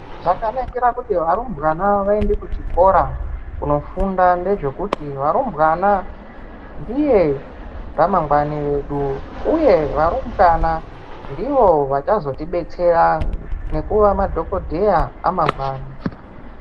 Zvakanakira kuti varumbwana vaende kuzvikora kunofunda ndezvekuti varumbwana ndiye ramangwani vedu uye varumbwana ndivo vachazoti detsera nokuva madhokodheya amangwani.